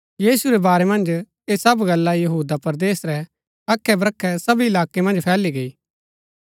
यीशु रै बारै मन्ज ऐह सब गल्ला यहूदा परदेस रै अखैब्रखै सब इलाकै मन्ज फैली गैई